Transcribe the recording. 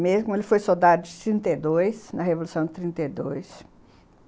Mesmo ele foi soldado em trinta e dois, na revolução de trinta e dois.